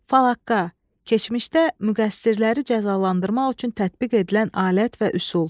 Falaqqa, keçmişdə müqəssirləri cəzalandırmaq üçün tətbiq edilən alət və üsul.